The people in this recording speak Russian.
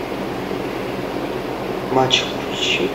матч включи